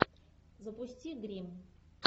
запусти гримм